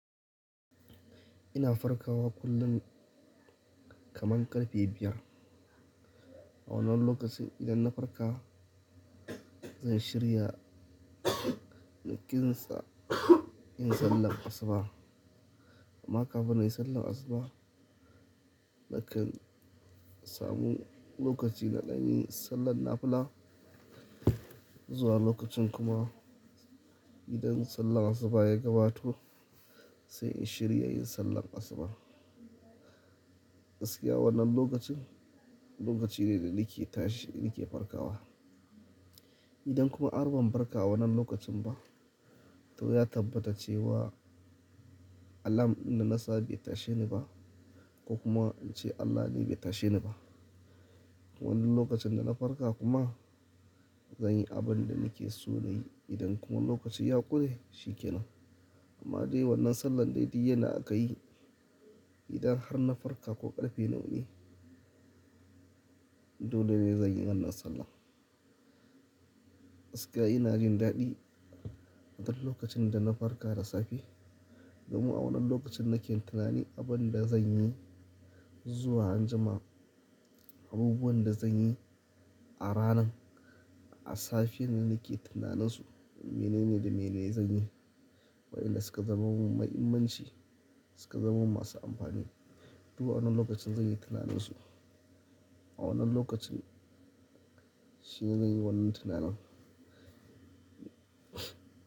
Ina farkawa kullum kaman ƙarfe biyar. A wannan lokaci idan na farka, zan shirya na kinsa in sallan asuba. Amma kafin in yi sallan asuba, nakan samu lokaci ɗan na yi sallan nafula. Zuwa lokacin kuma idan sallan asuba ya gabato sai in shirya yin sallan asuba. Gaskiya wannan lokacin, lokaci ne da nake tashi nake farkawa. Idan kuma har ban farka a wannan lokacin ba, to ya tabbata cewa alam na nasa bai tashe ni ba ko kuma in ce Allah ne bai tashe ni ba. Wannan lokacin da na farka kuma zan yi abin da nake so na yi. Idan kuma lokacin ya ƙure, shi ke nan. Amma dai wannan sallan dai duk yanda akayi idan har na farka ko ƙarfe nawa ne, dole ne zan yi wannan sallah. Gaskiya ina jin daɗi a wannan lokacin da na farka da safe. Domin a wannan lokacin nake tunani abin da zan yi zuwa anjima, abubuwan da zan yi a ranan. A safiya ne nake tunanin su, menene da mene zan yi? Waɗanda suka zama mahimmanci, suka zama masu amfani. Duba wannan lokacin zan yi tunanin su. A wannan lokacin shine zan yi wannan tunanin.